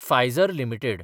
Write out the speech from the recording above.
Pfizer limited